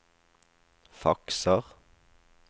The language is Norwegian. fakser